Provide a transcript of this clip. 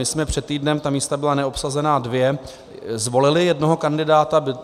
My jsme před týdnem, ta místa byla neobsazená dvě, zvolili jednoho kandidáta.